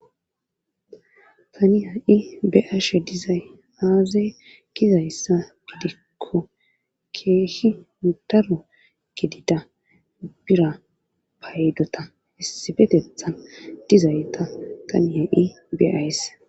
taniya i be'ashe dizay aaze gizayssa gidikko keehi mudaro gidida bira paydota issibetethan dizayta taniya i beays